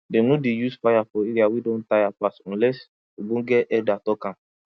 dem no dey use fire for area wey don tire pass unless ogbonge elder talk am